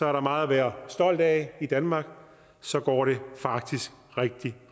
er meget at være stolt af i danmark så går det faktisk rigtig